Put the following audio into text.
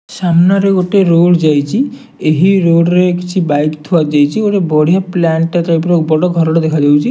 ସାମ୍ନାରେ ଗୋଟେ ରୋଡ ଯାଇଚି ଏହି ରୋଡ ରେ କିଛି ବାଇକ ଥୁଆ ଯାଇଚି ଗୋଟେ ବଢିଆ ପ୍ଲାଣ୍ଟ ଟେ ଟାଇପ ର ବଡ ଘରଟେ ଦେଖାଯାଉଚି।